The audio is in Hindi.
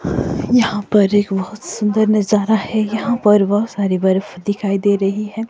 यहाँ पर एक बहोत सुंदर नजारा है यहाँ पर बहोत सारी बर्फ़ दिखाई दे रही है।